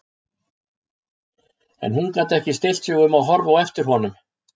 En hún gat ekki stillt sig um að horfa á eftir honum.